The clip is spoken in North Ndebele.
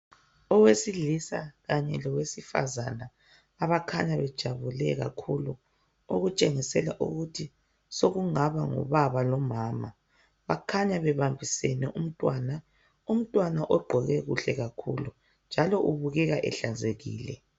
Owesilisa kanye lowesifazane abakhanya bejabule kakhulu , okutshengisela ukuthi sokungaba ngubaba lomama bakhanya bebambisene umntwana , umntwana ogqoke kuhle kakhulu njalo ubukeka ehlanzekile